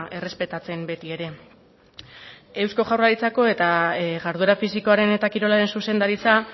errespetatzen beti ere eusko jaurlaritzako eta jarduera fisikoaren eta kirolaren zuzendaritza